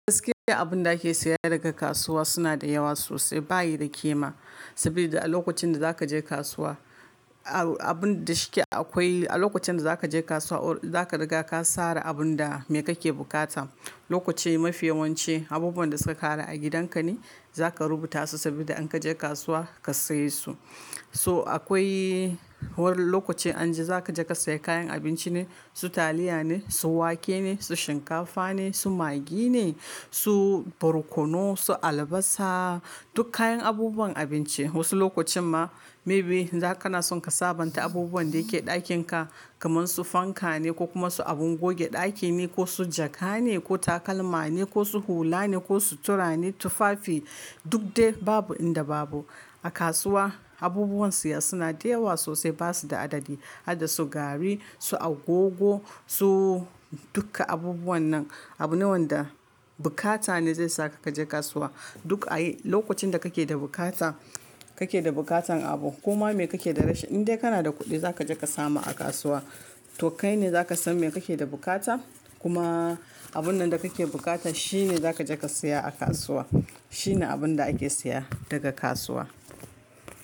Gaskiya abun da ake saya daga kasuwa suna da yawa sosai bayi da kima. Saboda a lokacin da zaka je kasuwa, abun da shike akwai, a lokacin da zaka je kasuwa zaka riga ka sara abun da me kake bukata. Lokaci mafiyawance abubuwan da suka ƙare a gidan ka ne zaka rubuta su saboda in ka je kasuwa ka saye su. So akwai wur-- lokacin an ji zaka je ka sayi kayan abinci ne, su taliya ne, su wake ne, su shinkafa ne, su maggi ne, su barkono, su albasa, duk kayan abubuwan abinci. Wasu lokacin ma maybe za kana son ka sabanta abubuwan da ke ɗakin ka, kaman su fanka ne ko kuma su abun goge ɗaki ne ko su jaka ne ko takalma ne ko su hula ne ko sutura ne, tufafi duk dai babu inda babu. A kasuwa abubuwan siya suna da yawa sosai basu da adadi. Hada su gari, su agogo, su duka abubuwan nan. Abu nawa da bukata ne zai saka ka je kasuwa. Duk a yi lokacin da kake da bukata, kake da bukatan abu koma me kake da rash, in dai kana da kuɗi zaka je ka samu a kasuwa. To kai ne zaka san me kake da bukata kuma abun nan da kake bukata shi ne zaka je ka siya a kasuwa. Shi ne abun da ake siya daga kasuwa.